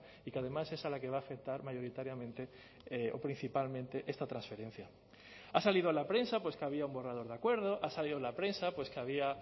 y que además es a la que va a afectar mayoritariamente o principalmente esta transferencia ha salido en la prensa pues que había un borrador de acuerdo ha salido en la prensa pues que había